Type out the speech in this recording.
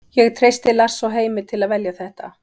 Ég treysti Lars og Heimi til að velja þetta.